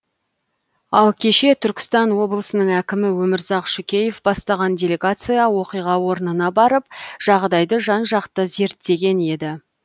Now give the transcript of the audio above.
ал кеше түркістан облысының әкімі өмірзақ шүкеев бастаған делегация оқиға орнына барып жағдайды жан жақты зеттеген еді